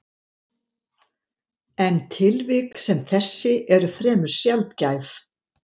En tilvik sem þessi eru fremur sjaldgæf.